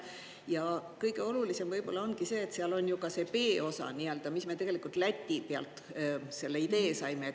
Ja kõige olulisem võib-olla ongi see, et seal on ju ka see B-osa nii-öelda, mis me tegelikult Läti pealt selle idee saime.